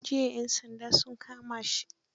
Jiya 'yan sandaa sun kama shi.